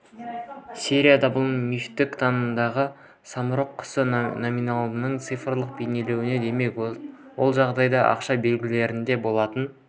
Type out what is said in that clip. серияда бұл мифтік танымдағы самұрық құсы номиналдың цифрлық бейнеленуі демек ол жалған ақша белгілерінде болатын